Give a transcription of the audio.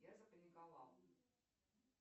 я запаниковал